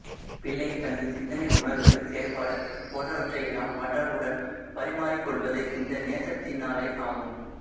பிள்ளை தனது சிந்தனை உணர்வு செயற்பாடு போன்றவற்றை எல்லாம் மற்றவர்களுடன் பரிமாறிக் கொள்வது இந்த நேசத்தினாலேயாகும்